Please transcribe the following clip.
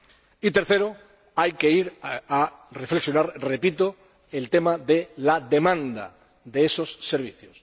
y, tercero, hay que reflexionar sobre el tema de la demanda de esos servicios.